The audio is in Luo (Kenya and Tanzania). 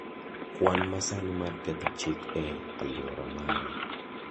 Kwan masani mar ketho chik e alwora mara